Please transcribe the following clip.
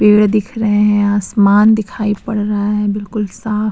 पेड़ दिख रहे हैं आसमान दिखाई पड़ रहा है बिल्कुल साफ --